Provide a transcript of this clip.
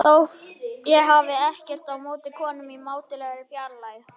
Sér útundan sér að konurnar eru felmtri slegnar hjá sófanum.